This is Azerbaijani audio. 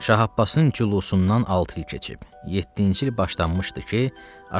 Şah Abbasın cülusundan altı il keçib, yeddinci il başlanmışdı ki,